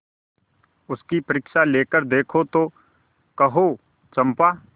उसकी परीक्षा लेकर देखो तो कहो चंपा